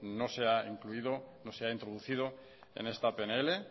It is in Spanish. no se ha incluido no se ha introducido en esta pnl